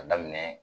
A daminɛ